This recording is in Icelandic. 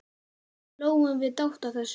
Hlógum við dátt að þessu.